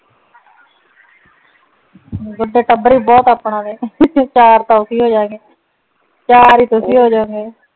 ਇੱਕ ਤਾਂ ਟੱਬਰ ਵੀ ਬਹੁਤ ਆਪਨ ਤੇ ਚਾਰ ਤਾਂ ਅਸੀਂ ਹੋ ਜਾਵਾਂਗੇ ਚਾਰ ਹੀ ਤੁਸੀਂ ਹੋ ਜੋਣਗੇ